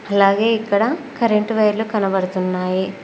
అలాగే ఇక్కడ కరెంటు వైర్లు కనబడుతున్నాయి.